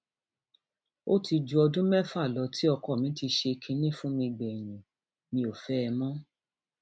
ó ti ju ọdún mẹfà lọ tí ọkọ mi ti ṣe kinní fún mi gbẹyìn mi ò fẹ ẹ mọ